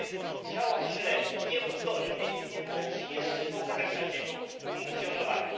Frontex działa źle, nieudolnie i nie należy jeszcze pogarszać jego funkcjonowania.